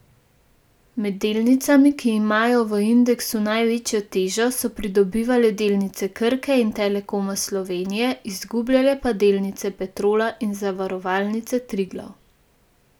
Med delnicami, ki imajo v indeksu največjo težo, so pridobivale delnice Krke in Telekoma Slovenije, izgubljale pa delnice Petrola in Zavarovalnice Triglav.